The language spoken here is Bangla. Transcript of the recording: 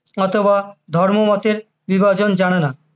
অথবা ধর্মমতের বিভাজন জানেনা।